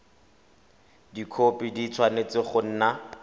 dikhopi di tshwanetse go nna